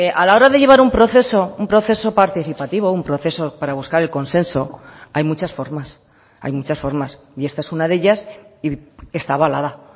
a la hora de llevar un proceso un proceso participativo un proceso para buscar el consenso hay muchas formas hay muchas formas y esta es una de ellas y está avalada